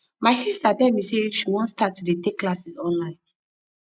my sister tell me say she wan start to dey take classes online